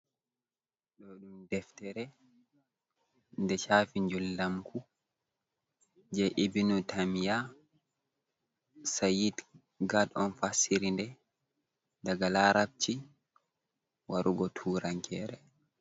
Ɗo ɗum deftere nde shafi njul ndamku je ebinutamya sa'id gat on fassiriɗe daga larabci warugo turankere.